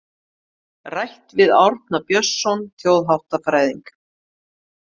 Rætt við Árna Björnsson þjóðháttafræðing.